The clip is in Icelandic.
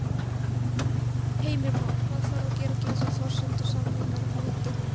Heimir Már: Hvað þarf að gera til þess að forsendur samninganna haldi?